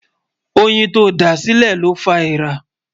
óyìn tó dá sílè ló fá ẹẹ̀rà